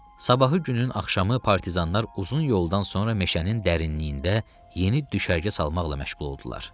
Sabahı günün axşamı partizanlar uzun yoldan sonra meşənin dərinliyində yeni düşərgə salmaqla məşğul oldular.